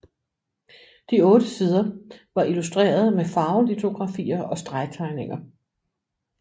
De otte sider var illustreret med farvelitografier og stregtegninger